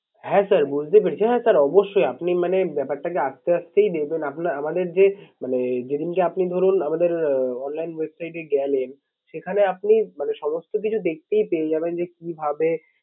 হ্যাঁ sir বুঝতে পেরেছি। হ্যাঁ sir অবশ্যই আপনি মানে ব্যাপারটা হচ্ছে আস্তে আস্তেই দেবেন। আমাদের যে মানে যে দিনকে আপনি ধরুন আমাদের আহ online website এ গেলেন সেখানে আপনি মানে সমস্ত কিছু দেখতেই পেয়ে যাবেন যে কি ভাবে